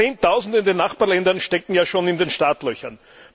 Zehntausende in den Nachbarländern stehen ja schon in den Startlöchern.